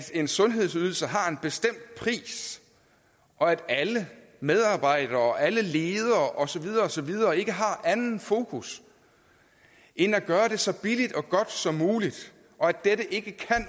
en sundhedsydelse har en bestemt pris og at alle medarbejdere og alle ledere og så videre og så videre ikke har andet fokus end at gøre det så billigt og godt som muligt og at dette ikke